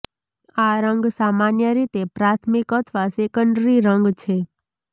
આ રંગ સામાન્ય રીતે પ્રાથમિક અથવા સેકન્ડરી રંગ છે